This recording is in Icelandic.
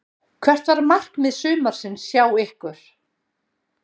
Hvert var markmið sumarsins hjá ykkur?